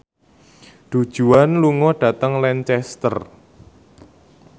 Du Juan lunga dhateng Lancaster